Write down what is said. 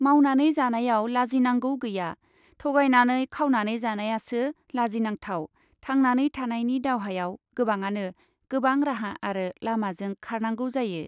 मावनानै जानायाव लाजिनांगौ गैया , थगायनानै खावनानै जानायासो लाजिनांथाव थांनानै थानायनि दावहायाव गोबाङानो गोबां राहा आरो लामाजों खारनांगौ जायो ।